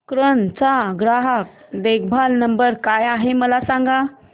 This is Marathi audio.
कॅनन चा ग्राहक देखभाल नंबर काय आहे मला सांग